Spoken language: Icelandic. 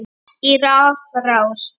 í rafrás